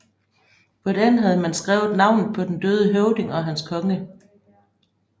På den havde man skrevet navnet på den døde høvding og hans konge